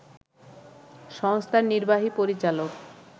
সংস্থার নির্বাহী পরিচালক